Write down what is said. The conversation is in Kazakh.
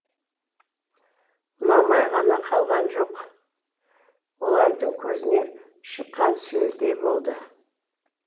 ұнамай ғана қалған жоқ олардың көзіне шыққан сүйелдей болды